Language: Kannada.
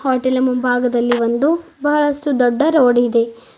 ಹೋಟೆಲ್ ನ ಮುಂಭಾಗದಲ್ಲಿ ಒಂದು ಬಹಳಷ್ಟು ದೊಡ್ಡ ರೋಡ್ ಇದೆ.